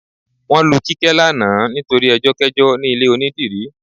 Wọ́n lu Kíkẹ́ lánàá nítorí ẹjọ́kẹ́jọ́ ní ilé onídìrí